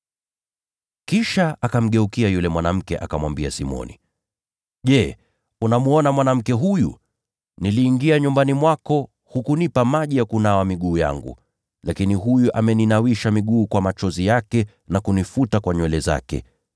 Kisha akamgeukia yule mwanamke, akamwambia Simoni, “Je, unamwona mwanamke huyu? Nilipoingia nyumbani mwako, hukunipa maji ya kunawa miguu yangu, lakini huyu ameninawisha miguu kwa machozi yake, na kunifuta kwa nywele zake.